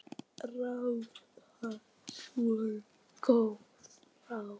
Við þökkum fyrir þetta allt.